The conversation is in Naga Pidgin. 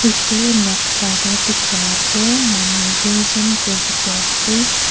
edu noksa tae dikhai toh manu tuijon kae dikhiase.